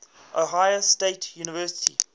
ohio state university